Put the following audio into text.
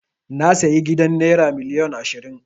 Na sayi gidan naira miliyon ashirin.